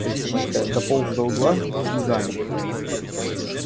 мальчишка дополз до угла и замер